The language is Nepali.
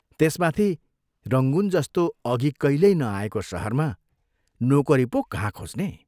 त्यसमाथि रंगून जस्तो अघि कहिल्यै नआएको शहरमा नोकरी पो कहाँ खोज्ने?